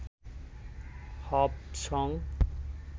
হব সঙ